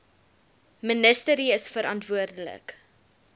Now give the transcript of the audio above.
ministerie is verantwoordelik